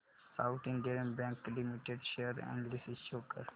south Indian Bank Limited share analysis show कर